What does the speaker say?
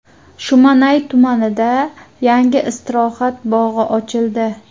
Shumanay tumanida yangi istirohat bog‘i ochildi.